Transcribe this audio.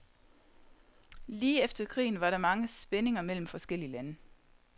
Lige efter krigen var der mange spændinger mellem forskellige lande.